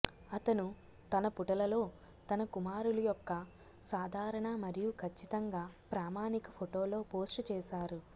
అతను తన పుటలలో తన కుమారులు యొక్క సాధారణ మరియు ఖచ్చితంగా ప్రామాణిక ఫోటోలో పోస్ట్ చేశారు